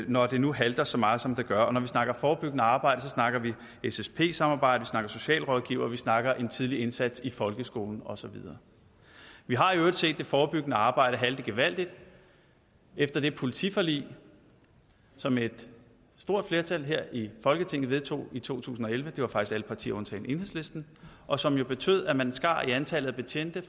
når det nu halter så meget som det gør når vi snakker forebyggende arbejde snakker vi ssp samarbejde vi snakker socialrådgivere vi snakker en tidlig indsats i folkeskolen og så videre vi har i øvrigt set det forebyggende arbejde halte gevaldigt efter det politiforlig som et stort flertal her i folketinget vedtog i to tusind og elleve det var faktisk alle partier undtagen enhedslisten og som jo betød at man skar antallet af betjente